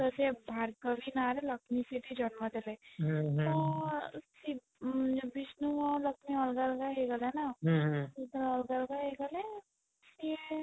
ତ ସିଏ ଭାର୍ଗବୀ ନାଁ ରେ ଲକ୍ଷ୍ମୀ ସେଠୀ ଜନ୍ମ ଦେଲେ ତ ଉଁ ବିଷ୍ଣୁ ଆଉ ଲକ୍ଷ୍ମୀ ଅଲଗା ଅଲଗା ହେଇ ଗଲେ ନା ଯେତେବେଳେ ଅଲଗା ଅଲଗା ହେଇ ଗଲେ ସିଏ